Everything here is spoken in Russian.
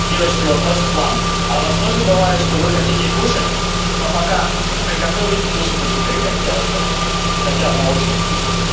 девочки вопрос к вам а у вас тоже бывает что вы хотите кушать но пока приготовите кушать уже перехотелось даже хотя оно очень вкусно